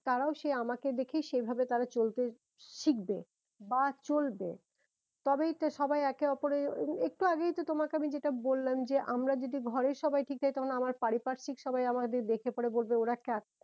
তারাও সে আমাকে দেখে সেই ভাবে তারা চলতে শিখবে বা চলবে তবেই তো সবাই একে ওপরের একটু আগেই তো তোমাকে আমি বললাম যে আমরা যদি ঘরের সবাই ঠিক থাকি তখন আমার পারি পারসিক সবাই আমাদের দেখে পরে বলবে ওরা